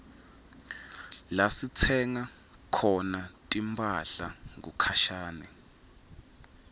lasitsenga khona timphahla kukhashane